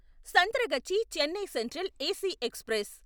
Santragachi Chennai central AC express